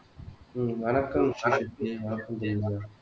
உம் வணக்கம் ஸ்ரீசக்தி வணக்கம் ஜெனிலியா